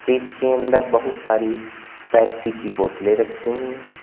Freeze के अंदर बहुत सारी पेप्सी की बोतलें रखी हुई हैं।